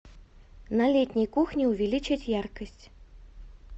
на летней кухне увеличить яркость